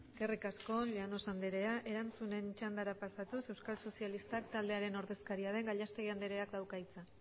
eskerrik asko llanos anderea erantzunen txandara pasatuz euskal sozialistak taldearen ordezkaria den gallastegui andereak dauka hitza